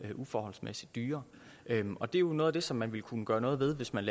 uforholdsmæssigt dyre og det er jo noget af det som man ville kunne gøre noget ved hvis man